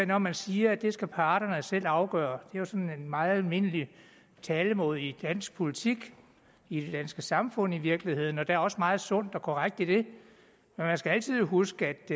når man siger at det skal parterne selv afgøre er jo sådan en meget almindelig talemåde i dansk politik i det danske samfund i virkeligheden og der er også meget sundt og korrekt i det men man skal altid huske at